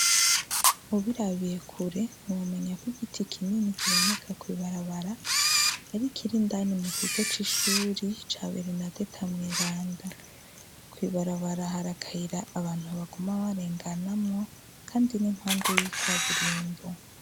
Ubirabiye kure ntiwumenya ko igiti kinini kiboneka kwibarabara ari ikirindani mu gigo c'ishuri ca berenadeta mweranda kwibarabara harakayira abantu baguma barenganamwo, kandi n'impande y'ika burimbo.